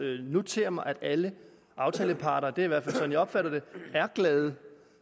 notere mig at alle aftaleparter det er i hvert fald sådan jeg opfatter det er glade